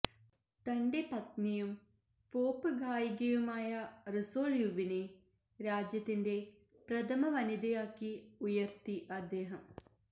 തന്റെ പത്നിയും പോപ്പ് ഗായികയുമായ റി സോൾ യുവിനെ രാജ്യത്തിൻറെ പ്രഥമവനിതയാക്കി ഉയർത്തി അദ്ദേഹം